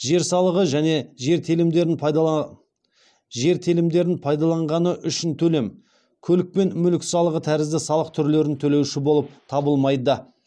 жер салығы және жер телімдерін пайдаланғаны үшін төлем көлік пен мүлік салығы тәрізді салық түрлерін төлеуші болып табылмайды